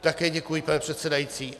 Také děkuji, pane předsedající.